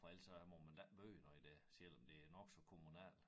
For ellers så må man da ikke bøje noget af det selvom det er nok så kommunalt